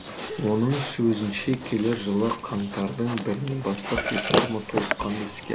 оның сөзінше келер жылы қаңтардың бірінен бастап реформа толыққанды іске асады